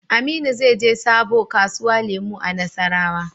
Aminu zai je sabo kasuwa lemu a nassarawa